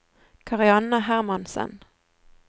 Karianne Hermansen